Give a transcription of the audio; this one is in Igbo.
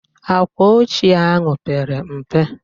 Àkwàochie ahụ pere mpe.